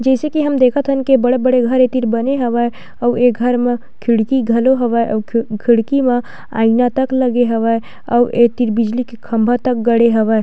जइसे की हम देखथन की बड़े-बड़े घर ये तीर बने हवय आऊ ये घर म खिड़की घलो हवय आऊ खीड़ खिड़की म आइना तक लगे हवय आऊ ए तीर बिजली के खम्भा तक गढ़े हवय--